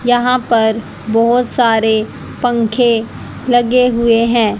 यहां पर बहोत सारे पंखे लगे हुए हैं।